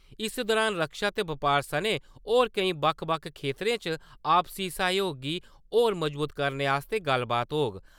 इस दुरान रक्षा ते बपार सनें होर केईं बक्ख-बक्ख खेतरें च आपसी सैह्जोग गी होर मज़बूत करने आस्तै गल्लबात होग ।